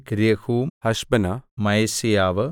രെഹൂം ഹശബ്നാ മയസേയാവ്